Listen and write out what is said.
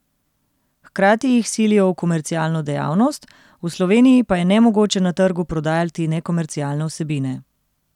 Hkrati jih silijo v komercialno dejavnost, v Sloveniji pa je nemogoče na trgu prodajati nekomercialne vsebine.